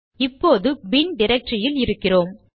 இப்போது பின்bin டிரக்டரியில் இருக்கிறோம்